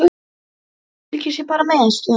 Kannski, fylgist ég bara með stöðunni?